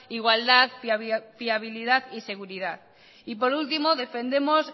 igualdad fiabilidad y seguridad y por último defendemos